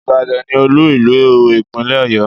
Ìbàdàn ni olú ìlú ìpínlẹ̀ Ọ̀yọ́